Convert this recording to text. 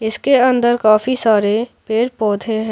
इसके अंदर काफी सारे पेड़ पौधे हैं।